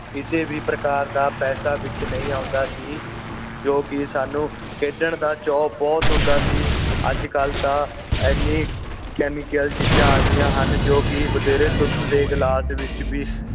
ਕਿਸੇ ਵੀ ਪ੍ਰਕਾਰ ਦਾ ਪੈਸਾ ਵਿੱਚ ਨਹੀਂ ਆਉਂਦਾ ਸੀ ਕਿਉਂਕਿ ਸਾਨੂੰ ਖੇਡਣ ਦਾ ਚੋ ਬੁਹਤ ਹੁੰਦਾ ਸੀ ਅੱਜ ਕੱਲ ਤਾਂ ਐਨੇ ਕੈਮੀਕਲ ਚੀਜ਼ਾਂ ਆ ਗਈਆਂ ਹਨ ਜੋ ਕਿ ਬਥੇਰੇ ਧੁੱਧ ਦੇ ਗਿਲਾਸ ਵਿੱਚ ਵੀ